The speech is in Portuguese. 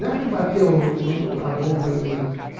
Não é que bateu o o a bomba em mim.